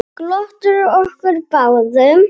Glottir að okkur báðum.